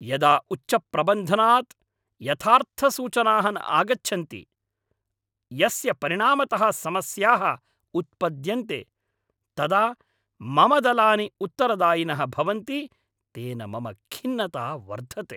यदा उच्चप्रबन्धनात् यथार्थसूचनाः न आगच्छन्ति, यस्य परिणामतः समस्याः उत्पद्यन्ते, तदा मम दलानि उत्तरदायिनः भवन्ति, तेन मम खिन्नता वर्धते।